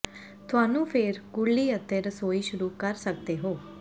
ਤੁਹਾਨੂੰ ਫਿਰ ਕੁਰਲੀ ਅਤੇ ਰਸੋਈ ਸ਼ੁਰੂ ਕਰ ਸਕਦੇ ਹੋ